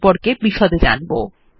এই লিঙ্ক এ উপলব্ধ ভিডিও টি দেখুন